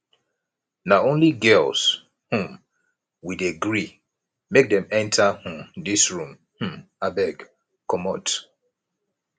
na only girls um we dey gree make dem enta um dis room um abeg comot